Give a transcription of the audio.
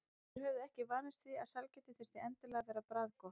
Þeir höfðu ekki vanist því að sælgæti þyrfti endilega að vera bragðgott.